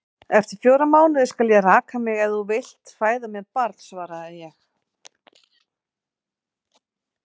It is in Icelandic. Eftir fjóra mánuði skal ég raka mig, ef þú vilt fæða mér barn, svaraði ég.